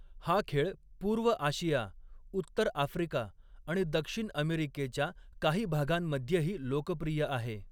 हा खेळ पूर्व आशिया, उत्तर आफ्रिका आणि दक्षिण अमेरिकेच्या काही भागांमध्येही लोकप्रिय आहे.